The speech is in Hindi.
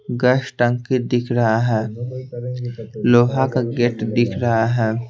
गैस टंकी दिख रहा है लोहा का गेट दिख रहा है।